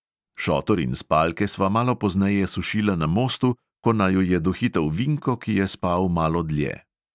Šotor in spalke sva malo pozneje sušila na mostu, ko naju je dohitel vinko, ki je spal malo dlje.